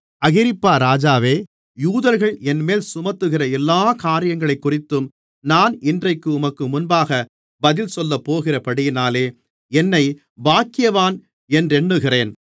அகிரிப்பா ராஜாவே யூதர்கள் என்மேல் சுமத்துகிற எல்லாக் காரியங்களைக்குறித்தும் நான் இன்றைக்கு உமக்கு முன்பாக பதில் சொல்லப்போகிறபடியினாலே என்னைப் பாக்கியவான் என்றெண்ணுகிறேன்